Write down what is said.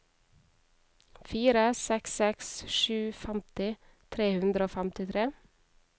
fire seks seks sju femti tre hundre og femtitre